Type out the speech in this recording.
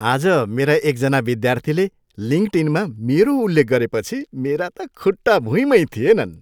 आज मेरा एकजना विद्यार्थीले लिङ्कडइनमा मेरो उल्लेख गरेपछि मेरा त खुट्टा भुईँमै थिएनन्।